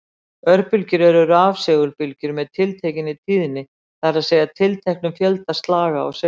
Örbylgjur eru rafsegulbylgjur með tiltekinni tíðni, það er að segja tilteknum fjölda slaga á sekúndu.